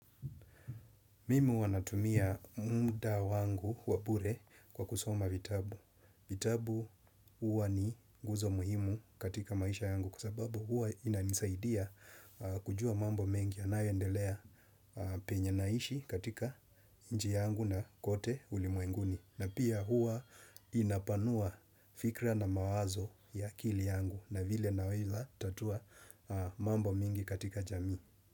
Mimi huwa natumia muda wangu wabure kwa kusoma vitabu. Vitabu huwa ni guzo muhimu katika maisha yangu kwasababu huwa inanisaidia kujua mambo mengi. Anayendelea penye naishi katika nchi yangu na kote ulimwenguni. Na pia huwa inapanua fikra na mawazo ya akili yangu na vile na wila tatua mambo mingi katika jamii.